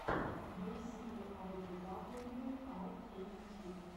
бейсикли ай ду дабл ю ар кей ютьюб